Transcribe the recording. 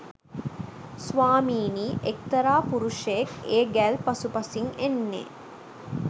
ස්වාමීනී එක්තරා පුරුෂයෙක් ඒ ගැල් පසුපසින් එන්නේ